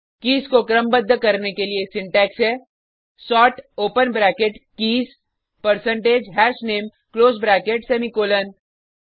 keys को क्रमबद्ध करने के लिए सिंटेक्स है sort open bracket keys percentage हशनामे क्लोज ब्रैकेट सेमीकॉलन